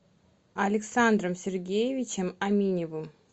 александром сергеевичем аминевым